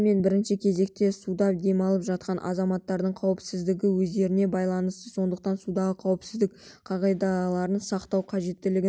дегенмен бірінші кезекте суда демалып жатқан азаматтардың қауіпсіздігі өздеріне байланысты сондықтан судағы қауіпсіздік қағидаларын сақтау қажеттігін